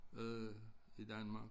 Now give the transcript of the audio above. Øh i Danmark